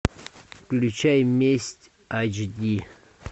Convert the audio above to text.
включай месть айч ди